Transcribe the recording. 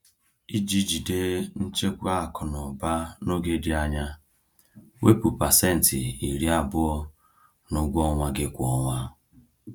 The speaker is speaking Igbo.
Iji jide nchekwa akụ na ụba n’oge dị anya, wepụ pasenti iri abụọ (20%) n’ụgwọ ọnwa gị kwa ọnwa.